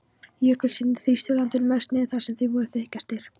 Jökulskildirnir þrýstu landinu mest niður þar sem þeir voru þykkastir.